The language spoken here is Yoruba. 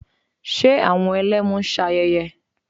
Ṣe àwọn Ẹlẹ́mu ń ṣe ayẹyẹ?